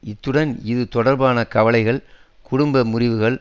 இத்துடன் இது தொடர்பான கவலைகள் குடும்ப முறிவுகள்